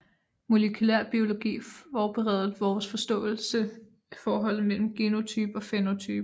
Molekylærbiologi forbedrede vores forståelse af forholdet mellem genotype og fænotype